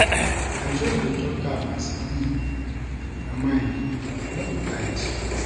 I just dey tok am as e be for my mind, no be fight.